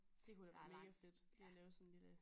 Det kunne da være mega fedt lige at lave lille